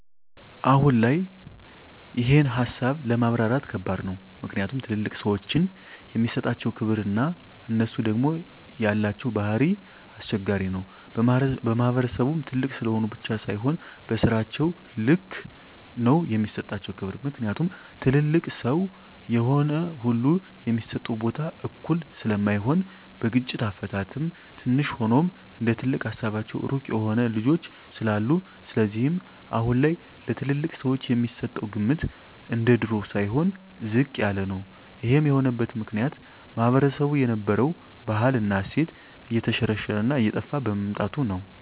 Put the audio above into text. አሁን ላይ ይሄን ሀሳብ ለማብራራት ከባድ ነው ምክኒያቱም ትልልቅ ሰዎችን የሚሠጣቸው ክብር እና እነሡ ደግም የላቸው ባህሪ ኘስቸጋሪ ነው በማህበረሰቡም ትልቅ ስለሆኑ ብቻ ሳይሆ በስራቸው ልክ ነው የሚሰጣቸው ክብር ምክኒያቱም ትልልቅ ሰው የሆነ ሁሉ የሚሰጠው ቦታ እኩል ስለማይሆን በግጭት አፈታትም ትንሽ ሆኖም እንደትልቅ ሀሳባቸው ሩቅ የሆኑ ልጆች ስላሉ ስለዚህም አሁን ላይ ለትልልቅ ሰወች የሚሰጠው ግምት እንደድሮው ሳይሆን ዝቅ ያለ ነው ይሄም የሆነበት ምክኒያት ማህበረሰቡ የነበረው ባህል እና እሴት የተሽረሽረ እና እየጠፍ በመምጣቱ ነው